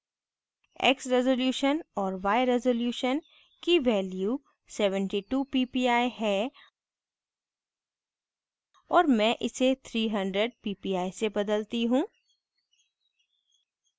x resolution और y resolution की value 72 ppi है और मैं इसे 300 ppi से बदलती हूँ